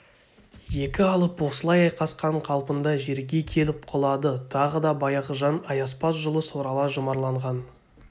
екі алып осылай айқасқан қалпында жерге келіп құлады тағы да баяғы жан аяспас жұлыс орала жұмарланған